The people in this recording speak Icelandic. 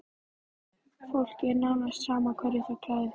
Fólki er nánast sama hverju það klæð